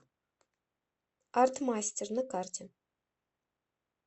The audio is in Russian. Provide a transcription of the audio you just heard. арт мастер на карте